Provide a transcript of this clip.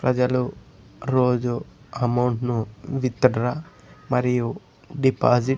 ప్రజలు రోజూ అమౌంట్ ను విత్ డ్రా మరియు డిపాజిట్ --